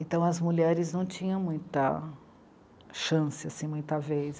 Então, as mulheres não tinham muita chance, assim, muita vez.